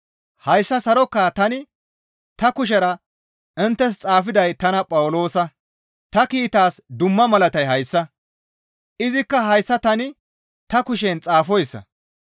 Hayssa sarokaa tani ta kushera inttes xaafiday tana Phawuloosa. Ta kiitaas dumma malatay hayssa; izikka hayssa tani ta kushen xaafoyssa.